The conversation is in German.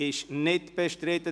– Das ist nicht der Fall.